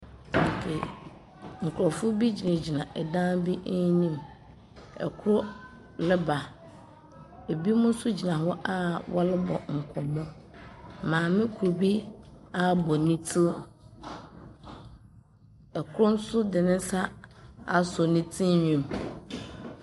Nkrɔfo bi gyinagyina dan bi enyim. Ɔkor reba. Ebinom nso gyina hɔ wɔrebɔ nkɔmmɔ. Maame kor abɔ ne tsir. Ikor nso de ne nsa asɔ ne tsir nhwi mu.